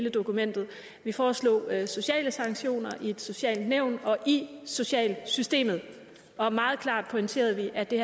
i dokumentet vi foreslog sociale sanktioner i et socialt nævn og i socialsystemet og meget klart pointerede vi at det